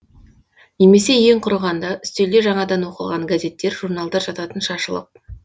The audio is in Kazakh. немесе ең құрығанда үстелде жаңадан оқылған газеттер журналдар жататын шашылып